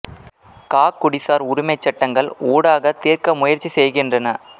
கா குடிசார் உரிமைச் சட்டங்கள் ஊடாகத் தீர்க்க முயற்சி செய்கின்றன